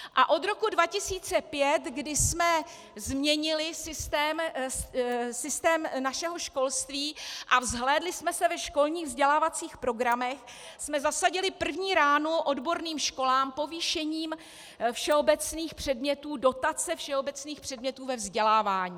A od roku 2005, kdy jsme změnili systém našeho školství a zhlédli jsme se ve školních vzdělávacích programech, jsme zasadili první ránu odborným školám povýšením všeobecných předmětů, dotace všeobecných předmětů ve vzdělávání.